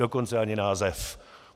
Dokonce ani název.